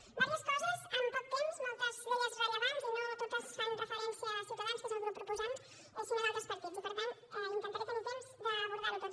diverses coses amb poc temps moltes d’elles rellevants i no totes fan referència a ciutadans que és el grup proposant sinó a d’altres partits i per tant intentaré tenir temps d’abordar ho tot